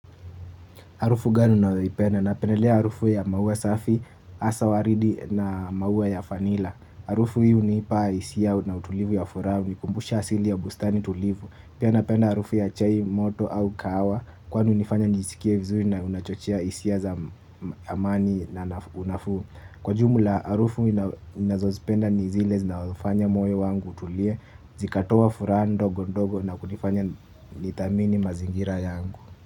Harufu gani unayoipenda napendelea harufu ya maua safi hasa waridi na maua ya vanilla. Harufu hii hunipa hisia na utulivu ya furaha hunikumbusha asili ya bustani tulivu. Pia napenda harufu ya chai moto au kahawa, kwani hunifanya nijisikie vizuri na unachochia hisia za amani na unafu. Kwa jumla, harufu ninazozipenda ni zile zinazofanya moyo wangu utulie, zikatoa furaha ndogo ndogo na kunifanya ni thamini mazingira yangu.